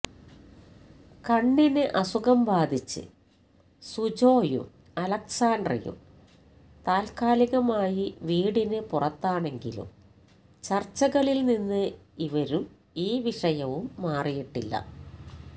കണ്ണിന് അസുഖം ബാധിച്ച് സുജോയും അലസാന്ഡ്രയും താല്ക്കാലികമായി വീടിന് പുറത്താണെങ്കിലും ചര്ച്ചകളില് നിന്ന് ഇവരും ഈ വിഷയവും മാറിയിട്ടില്ല